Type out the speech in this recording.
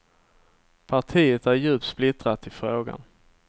Partiet är djupt splittrat i frågan.